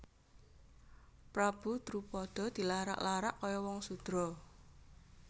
Prabu Drupada dilarak larak kaya wong sudra